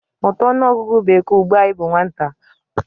Mụta ọnụọgụgụ bekee ugbu a ị bụ nwata!